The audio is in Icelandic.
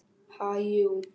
Ha, jú.